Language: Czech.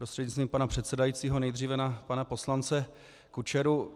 Prostřednictvím pana předsedajícího nejdříve na pana poslance Kučeru.